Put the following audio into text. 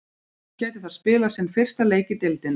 Hann gæti þar spilað sinn fyrsta leik í deildinni.